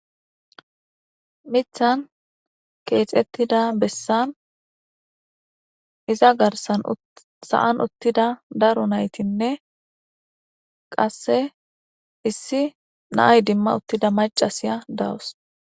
Mithan keexettida bessan iza garsan saan uttida daru naytinne qasse issi naay dimma uttida macasiya dawos.